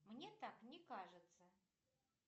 мне так не кажется